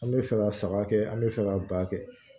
An bɛ fɛ ka saga kɛ an bɛ fɛ ka ba kɛ